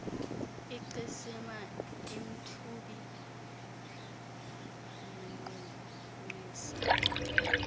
icesina emthubi igqugqisa